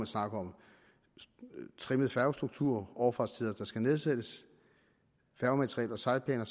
snakker om en trimmet færgestruktur overfartstider der skal nedsættes færgemateriel og sejlplaner